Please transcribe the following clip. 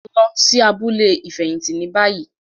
Lọ sí abúlé ifẹhinti ní bayii!